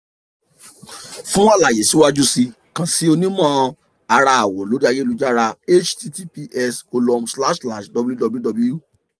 fun alaye siwaju sii kan si onimọ-ara awọ lori ayelujara --> https://www